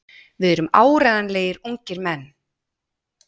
Við erum áreiðanlegir ungir menn.